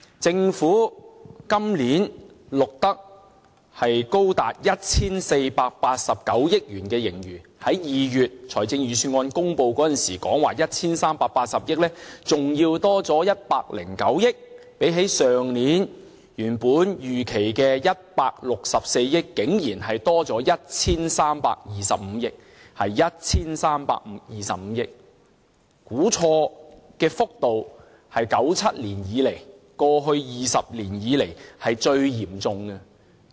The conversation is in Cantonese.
政府今年錄得高達 1,489 億元盈餘，較2月公布預算案時說的 1,380 億元還要多109億元；相比去年原本預期的164億元竟然多了 1,325 億元，是 1,325 億元，估錯的幅度是1997年以來，過去20年以來最嚴重的。